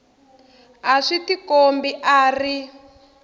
a swi tikombi a ri